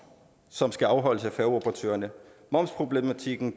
som skal afholdes af færgeoperatørerne momsproblematikken